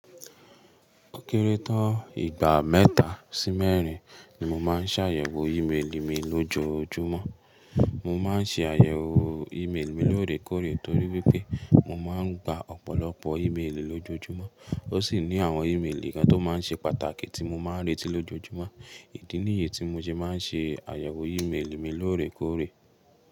Ó kéré tán igba mẹ́ta sí mẹ́rin ni mo máa ń ṣàyẹ̀wò ímélì mi lójoojúmọ́. Mo máa ń ṣe àyẹ̀wò ímélì mi lóòrèkóòrè torí wípé mo máa ń gba ọ̀pọ̀lọpọ̀ ímélì lójoojúmọ́. Ó sì ní àwọn ímélì kan tó máa ń ṣe pàtàkì tí mo máa ń retí lójoojúmọ́. Èyí ni ìyè tí mo ṣe máa ń ṣe àyẹ̀wò ímélì mi lóòrèkóòrè.